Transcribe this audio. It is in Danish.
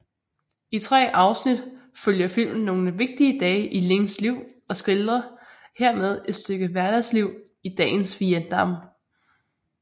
I tre afsnit følger filmen nogle vigtige dage i Lings liv og skildrer hermed et stykke hverdagsliv i dagens Vietnam